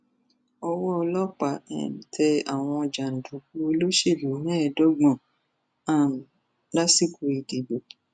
ọwọ ọlọpàá um tẹ àwọn jàǹdùkú olóṣèlú mẹẹẹdọgbọn um lásìkò ìdìbò